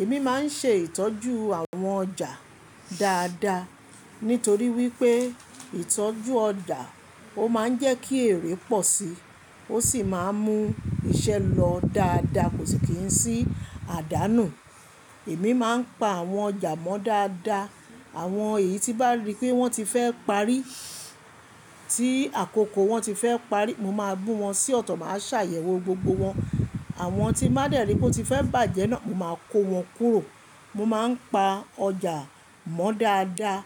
Èmi máa ń ṣe ìtọ́jú àwọn ọjà dáadáa, nítorí wípé ìtọ́jú ọjà ó máa ń jẹ́ kí èrè pọ̀ sí, ó sì máa ń mú iṣẹ́ lọ dáadáa kò sì kí ń sí àdánù. Èmi máa ń pa àwọn ọjà mọ́ dáadáa, àwọn èyí tí bá rí pé wọ́n ti fẹ́ parí, tí àkókò wọn ti fẹ́ parí, mo máa bú wọn sí ọ̀tọ̀, màá ṣàyẹ̀wò gbogbo wọn. Àwọn tí n báa dẹ̀rí pé ó ti fẹ́ bàjẹ́ náà, mo máa kó wọn kúrò. Mo máa ń pa ọjà mọ́ dáadáa